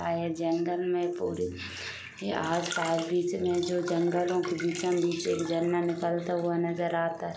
और ये जंगल में पूरी यहा आस पास बिच में जो जंगलो के बिचम बिच एक जंगल निकलता नजर आता है।